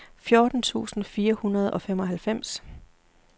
fjorten tusind fire hundrede og femoghalvfems